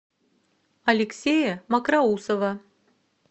алексея мокроусова